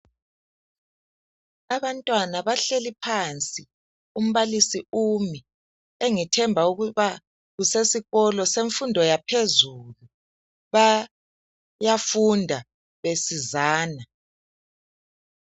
Abantwana bahleli phansi umbalisi umi engithemba ukuba usesikolo semfundo yaphezulu. Bayafunda besizana.